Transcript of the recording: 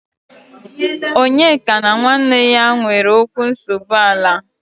Onyeka na nwanne ya nwere okwu nsogbu ala.